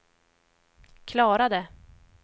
klarade